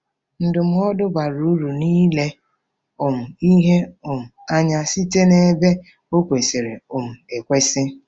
Ndụmọdụ bara uru n'ile um ihe um anya Site n'Ebe Ọ Kwesịrị um Ekwesị